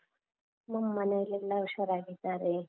ನಮ್ಮನೇಲೆಲ್ಲ ಉಷಾರಾಗಿದ್ದಾರೆ.